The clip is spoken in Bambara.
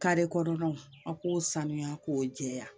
kɔnɔnaw a k'o sanuya k'o jɛya